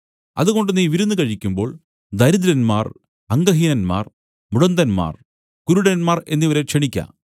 അതുകൊണ്ട് നീ വിരുന്നു കഴിക്കുമ്പോൾ ദരിദ്രന്മാർ അംഗഹീനന്മാർ മുടന്തന്മാർ കുരുടന്മാർ എന്നിവരെ ക്ഷണിക്ക